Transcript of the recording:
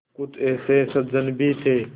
कुछ ऐसे सज्जन भी थे